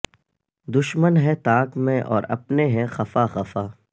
دشمن ہے تاک میں اور اپنے ہیں خفا خفا